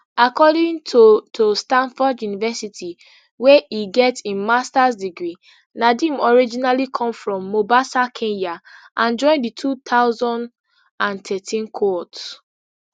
according to to standford university wey e get im masters degree nadeem originally come from mobasa kenya and join di two thousand and thirteen cohort